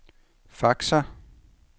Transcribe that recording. faxer